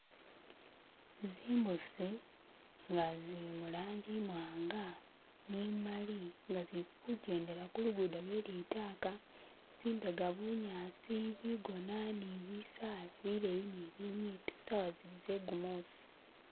Zimbusi nga zili mulangi imwanga ni imali nga zili kugendela kulugudo lwelitaka zimbega bunyasi bigona ni bisaala bileyi ni binyipi sawa zili zegumusi